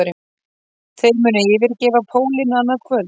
Þeir munu yfirgefa pólinn annað kvöld